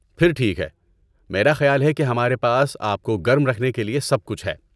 پھر ٹھیک ہے۔ میرا خیال ہے کہ ہمارے پاس آپ کو گرم رکھنے کے لیے سب کچھ ہے۔